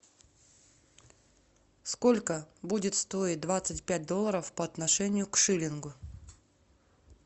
сколько будет стоить двадцать пять долларов по отношению к шиллингу